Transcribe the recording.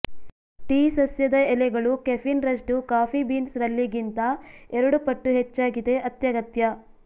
tea ಸಸ್ಯದ ಎಲೆಗಳು caffeine ರಷ್ಟು ಕಾಫಿ ಬೀನ್ಸ್ ರಲ್ಲಿ ಗಿಂತ ಎರಡು ಪಟ್ಟು ಹೆಚ್ಚಾಗಿದೆ ಅತ್ಯಗತ್ಯ